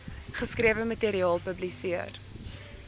geskrewe materiaal publiseer